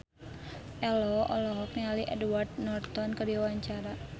Ello olohok ningali Edward Norton keur diwawancara